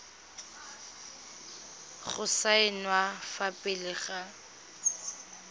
go saenwa fa pele ga